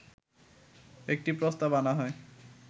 একটি প্রস্তাব আনা হয়